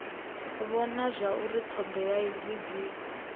vhona zwauri thodea idzi dzi